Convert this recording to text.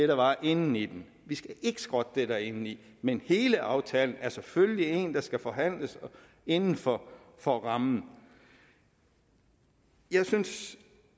der var inden i den vi skal ikke skrotte det der er indeni men hele aftalen er selvfølgelig en der skal forhandles inden for for rammen jeg synes